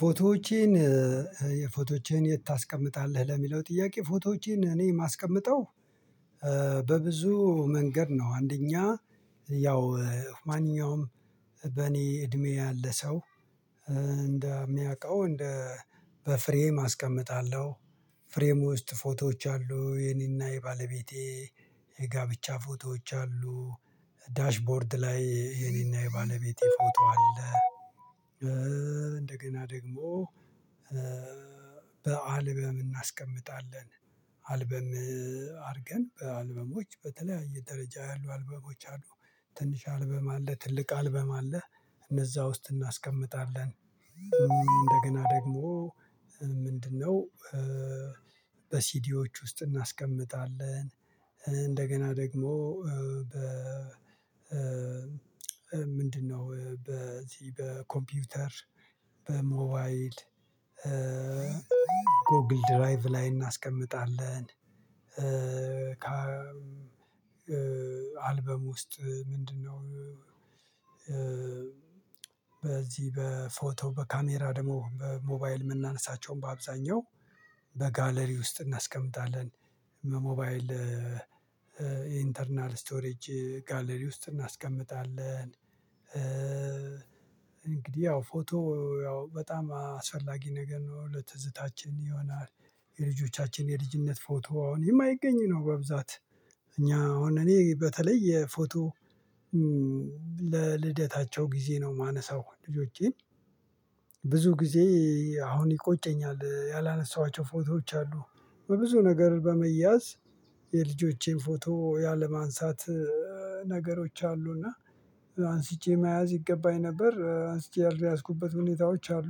ፎቶዎቼን የፎቶዎቼን የት ታስቀምጣለህ ለሚለው ጥያቄ? ፎቶዎቼን እኔ የማስቀምጠው በብዙ መንገድ ነው። አንደኛ ያው ማንኛውም በእኔ እድሜ ያለ ሰው እንደሚያውቀው እንደ በፍሬም አስቀምጣለሁ ፍሬም ውስጥ ፎቶዎች አሉ የኔና የባለቤቴ የጋብቻ ፎቶዎች አሉ ዳሽቦርድ ላይ የኔና የባለቤቴ ፎቶ አለ። እንደገና ደግሞ በአልበም እናስቀምጣለን አልበም አድርገን በአልበሞች በተለያየ ደረጃ ያሉ አልበሞች አሉ ትንሽ አልበም አለ ትልቅ አልበም አለ እነዛ ውስጥ እናስቀምጣለን። እንደገና ደግሞ ምንድነው? በሲዲዎች ውስጥ እናስቀምጣለን እንደገና ደግሞ በ ምንድነው በዚህ በኮምፒውተር በሞባይል ጎግል ድራይቭ ላይ እናስቀምጣለን። አልበም ውስጥ ምንድነው? በዚህ በፎቶ በካሜራ ደግሞ በሞባይል የምናነሳቸውን በአብዛኛው በጋለሪ ውስጥ እናስቀምጣለን። ሞባይል ኢንተርናል ስቶሬጅ ጋለሪ ውስጥ እናስቀምጣለን እንግዲህ ያው ፎቶ ያው በጣም አስፈላጊ ነገር ነው ለትዝታችን ይሆናል። የልጆቻችን የልጅነት ፎቶ አሁን የማይገኝ ነው በብዛት እኛ አሁን እኔ በተለይ የፎቶ ለልደታቸው ጊዜ ነው የማነሳው ልጆቼን ብዙ ጊዜ አሁን ይቆጨኛል ያላነሳኋቸው ፎቶዎች አሉ። በብዙ ነገር በመያዝ የልጆቼን ፎቶ ያለማንሳት ነገሮች አሉ እና አንስቼ መያዝ ይገባኝ ነበር አንስቼ የአልያዝኩበት ሁኔታዎች አሉ።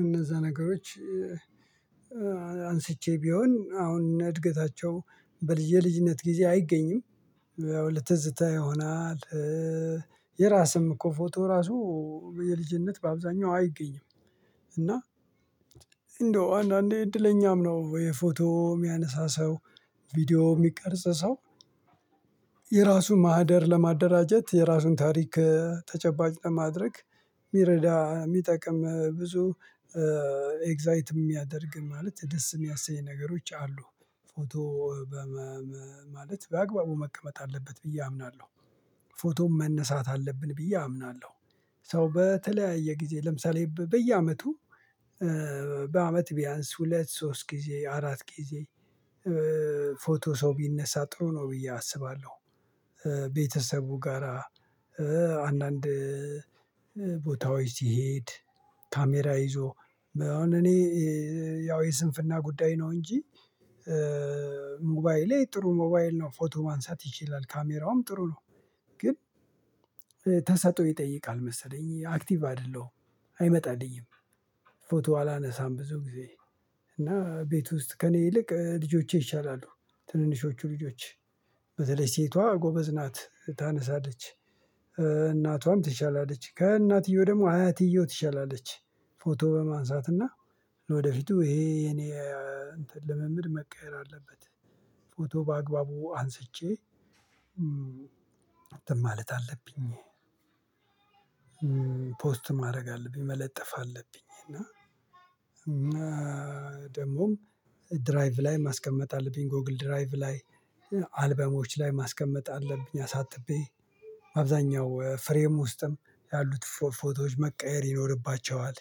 እነዛ ነገሮች አንስቼ ቢሆን አሁን እነ እድገታቸው በል የልጅነት ጊዜ አይገኝም ያው ለትዝታ ይሆናል። የራስም እኮ ፎቶ ራሱ የልጅነት በአብዛኛው አይገኝም። እና እንደው አንዳንዴ እድለኛም ነው ወይ ፎቶ የሚያነሳ ሰው ቪዲዮ የሚቀርጽ ሰው ማህደር ለማደራጀት የራሱን ታሪክ ተጨባጭ ለማድረግ የሚረዳ የሚጠቅም ብዙ ኤግዛይት የሚያደርግ ማለት ደስ የሚያኝ ነገሮች አሉ። ፎቶ በመ ማለት በአግባቡ መቀመጥ አለበት ብዬ አምናለሁ። ፎቶም መነሳት አለብን ብዬ አምናለሁ። ሰው በተለያየ ጊዜ ለምሳሌ በ በየአመቱ በአመት ቢያንስ ሁለት ሶስት ጊዜ አራት ጊዜ ፎቶ ሰው ቢነሳ ጥሩ ነው ብዬ አስባለሁ። ቤተሰቡ ጋራ አንዳንድ ቦታዎች ሲሄድ ካሜራ ይዞ አሁን እኔ ያው የስንፍና ጉዳይ ነው እንጂ ሞባይሌ ጥሩ ሞባይል ነው ፎቶ ማንሳት ይችላል ካሜራውም ጥሩ ነው። ግን ተሰጥኦ ይጠይቃል መሰለኝ አክቲቭ አይደለሁም አይመጣልኝም። ፎቶ አላነሳም ብዙ ጊዜ እና ቤት ውስጥ ከእኔ ይልቅ ልጆቼ ይሻላሉ ትንንሾቹ ልጆች በተለይ ሴቷ ጎበዝ ናት ታነሳለች እናቷም ትሻላለች ከእናትየው ደግሞ አያትየዋ ትሻላለች። ፎቶ በማንሳትና ለወደፊቱ ይሄ የኔ እንትን ልምምድ መቀየር አለበት። ፎቶ በአግባቡ አንስቼ እንትን ማለት አለብኝ ፖስት ማድረግ አለብኝ መለጠፍ አለብኝ እና ደግሞም ድራይቭ ላይ ማስቀመጥ አለብኝ ጎግል ድራይቭ ላይ አልበሞች ላይ ማስቀመጥ አለብኝ። አሳጥቤ አብዛኛው ፍሬም ውስጥም ያሉት ፎ ፎቶዎች መቀየር ይኖርባቸዋል።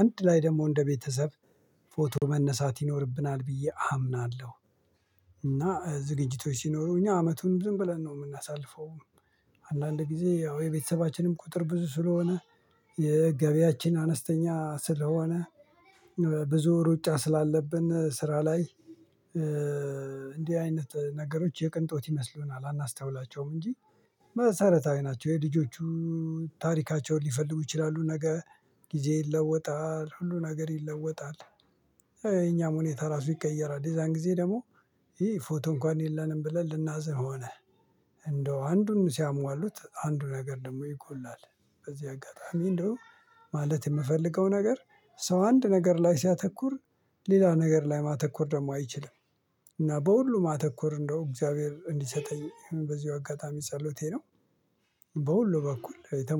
አንድ ላይ ደግሞ እንደ ቤተሰብ ፎቶ መነሳት ይኖርብናል ብዬ አምናለሁ። እና ዝግጅቶች ሲኖሩ እኛ አመቱን ዝም ብለን ነው የምናሳልፈውም አንዳንድ ጊዜ ያው የቤተሰባችንም ቁጥር ብዙ ስለሆነ የገቢያችን አነስተኛ ስለሆነ ብዙ ሩጫ ስላለብን ስራ ላይ እንዲህ አይነት ነገሮች የቅንጦት ይመስሉናል አናስተውላቸውም እንጂ መሰረታዊ ናቸው። የልጆቹ ታሪካቸውን ሊፈልጉ ይችላሉ ነገ ጊዜ ይለወጣል ሁሉ ነገር ይለወጣል። የእኛም ሁኔታ ራሱ ይቀየራል የዛን ጊዜ ደግሞ አይ ፎቶ እንኳን የለንም ብለን ልናዝን ሆነ እንደው አንዱን ሲያሟሉት አንዱ ነገር ደግሞ ይጎላል። በዚህ አጋጣሚ እንደው ማለት የምፈልገው ነገር ሰው አንድ ነገር ላይ ሲያተኩር ሌላ ነገር ላይ ማተኮር ደግሞ አይችልም። እና በሁሉ ማተኮር እንደው እግዚአብሔር እንዲሰጠኝ በዚሁ አጋጣሚ ጸሎቴ ነው። በሁሉ በኩል የተሞ